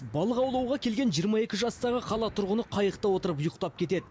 балық аулауға келген жиырма екі жастағы қала тұрғыны қайықта отырып ұйықтап кетеді